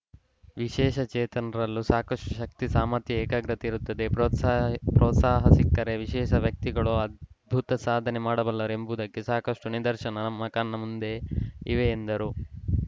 ವಿಶೇಷ ಚೇತನರಲ್ಲೂ ಸಾಕಷ್ಟುಶಕ್ತಿ ಸಾಮರ್ಥ್ಯ ಏಕಾಗ್ರತೆ ಇರುತ್ತದೆ ಪ್ರೋತ್ಸಾ ಪ್ರೋತ್ಸಾಹ ಸಿಕ್ಕರೆ ವಿಶೇಷ ವ್ಯಕ್ತಿಗಳೂ ಅದ್ಭುತ ಸಾಧನೆ ಮಾಡಬಲ್ಲರು ಎಂಬುದಕ್ಕೆ ಸಾಕಷ್ಟುನಿದರ್ಶನ ನಮ್ಮ ಕಣ್ಣ ಮುಂದೆಯೇ ಇವೆ ಎಂದರು